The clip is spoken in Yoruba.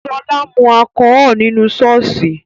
Sola mu alchol nínú ṣọ́ọ̀ṣì